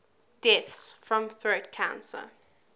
deaths from throat cancer